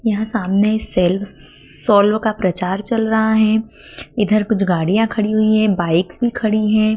यहां सामने self solve का प्रचार चल रहा है इधर कुछ गाड़ियां खड़ी हुई हैं बाइक्स भी खड़ी हैं।